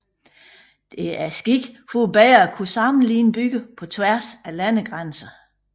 Det er sket for bedre at kunne sammenligne byer på tværs af landegrænser